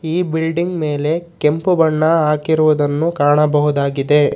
ಈ ಬಿಲ್ಡಿಂಗ್ ಮೇಲೆ ಕೆಂಪು ಬಣ್ಣ ಹಾಕಿರುವುದನ್ನು ಕಾಣಬಹುದಾಗಿದೆ.